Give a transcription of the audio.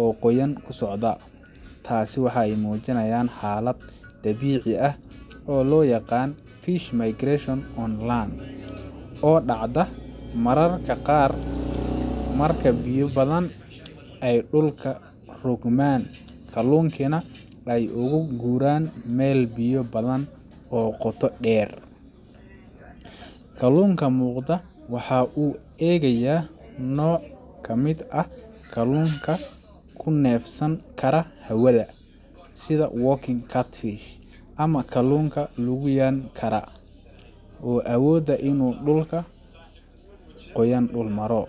oo qoyan ku socda. Taas waxa ay muujinayaan xaalad dabiici ah oo loo yaqaan fish migration on land oo dhacda mararka qaar marka biyo badan ay dhulka rogmaan, kalluunkiina ay uga guuraan meel biyo badan oo qoto dheer. Kalluunka muuqda waxa uu u eegayaa nooc ka mid ah kalluunka ku neefsan kara hawada sida walking catfish ama kalluunka lugiyan kara, oo awooda in uu dhulka qoyan dul maro.